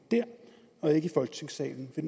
tusind og